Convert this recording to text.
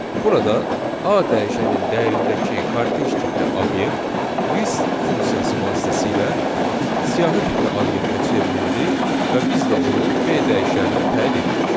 Burada A dəyişənin dəyərindəki kortec tipli obyekt list funksiyası vasitəsilə siyahı tipli obyektə çevrildi və biz də onu B dəyişəninə təyin etdik.